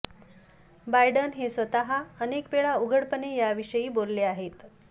Biden हे स्वतः अनेक वेळा उघडपणे याविषयी बोलले आहेत